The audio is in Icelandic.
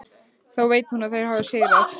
Þá veit hún að þeir hafa sigrað.